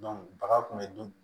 baga kun be dun